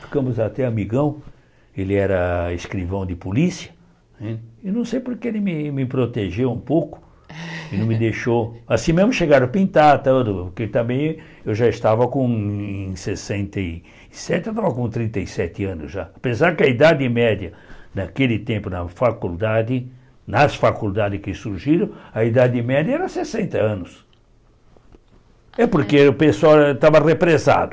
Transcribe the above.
ficamos até amigão, ele era escrivão de polícia né, e não sei porque ele me protegeu um pouco, ele não me deixou, assim mesmo chegaram a pintar a tela do, porque também eu já estava com em sessenta e sete, estava com trinta e sete anos já, apesar que a idade média naquele tempo na faculdade, nas faculdades que surgiram, a idade média era sessenta anos, é porque o pessoal estava represado,